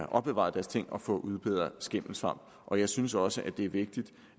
opbevaret deres ting og få udbedret skimmelsvamp og jeg synes også at det er vigtigt